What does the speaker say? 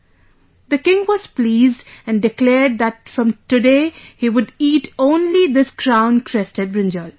" The king was pleased and declared that from today he would eat only this crown crested brinjal